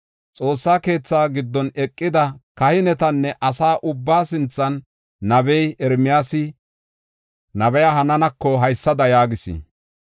Xoossa keethaa giddon eqida kahinetanne asa ubbaa sinthan nabey Ermiyaasi, nabiya Hananako haysada yaagis.